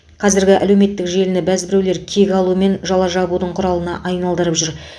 қазіргі әлеуметтік желіні бәзбіреулер кек алу мен жала жабудың құралына айналдырып жүр